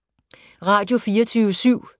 Radio24syv